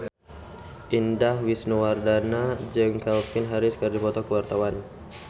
Indah Wisnuwardana jeung Calvin Harris keur dipoto ku wartawan